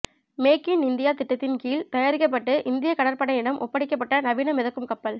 make in India திட்டத்தின் கீழ் தயாரிக்கப்பட்டு இந்திய கடற்படையிடம் ஒப்படைக்கப்பட்ட நவீன மிதக்கும் கப்பல்